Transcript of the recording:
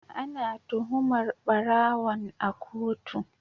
Ana tuhumar barawon a kotu.